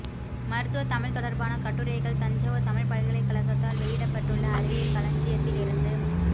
மருத்துவத் தமிழ் தொடர்பான கட்டுரைகள் தஞ்சாவூர் தமிழ் பல்கலைக் கழகத்தால் வெளியிடப்பட்டுள்ள அறிவியல் களஞ்சியத்திலிருந்து